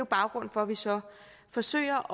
baggrunden for at vi så forsøger